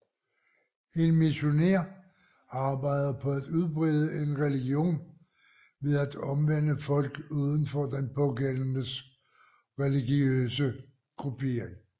En missionær arbejder på at udbrede en religion ved at omvende folk uden for den pågældendes religiøse gruppering